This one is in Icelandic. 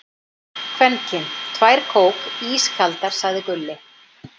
Kvenkyn: Tvær kók, ískaldar, sagði Gulli.